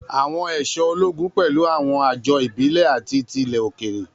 Àwọn aṣọ ológun pẹ̀lú àwọn àjọ ìbílẹ̀ àti ti ilẹ̀ òkèèrè.